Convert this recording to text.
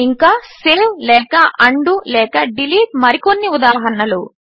ఇంకా సేవ్ లేక ఉండో లేక డిలీట్ మరికొన్ని ఉదాహరణలు